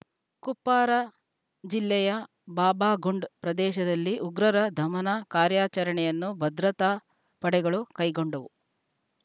ಕುಪ್ವಾರ ಜಿಲ್ಲೆಯ ಬಾಬಾಗುಂಡ್‌ ಪ್ರದೇಶದಲ್ಲಿ ಉಗ್ರರ ದಮನ ಕಾರ್ಯಾಚರಣೆಯನ್ನು ಭದ್ರತಾ ಪಡೆಗಳು ಕೈಗೊಂಡವು